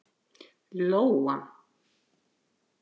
Lóa